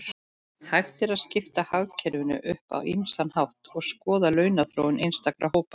Hægt er að skipta hagkerfinu upp á ýmsan hátt og skoða launaþróun einstakra hópa.